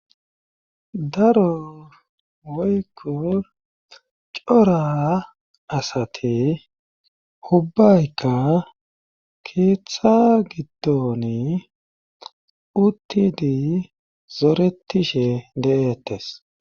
daro woykko cora asati hubbayka keeththa giddoni uttidi zoretishe de7ettes